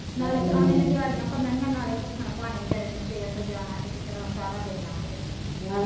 ਨਾਲ ਪਰਾਉਣੇ ਨੇ ਦਿਹਾੜੀਆਂ ਭਨਣੀਆ ਨਾਲੇ ਭੁਖਣ ਭਾਣੇ ਵਿਚਾਰੇ ਨੇ ਸਵੇਰ ਤੋਂ ਜਾਣਾ ਤੇ ਕਿਧਰੇ ਸਾਰਾ ਦਿਨ ਲੰਘ ਜਾਣਾ,